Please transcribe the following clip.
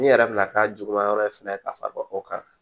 N'i yɛrɛ bɛna k'a juguman yɔrɔ fɛnɛ ka fara o kan